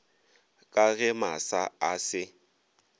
ka ge masa a se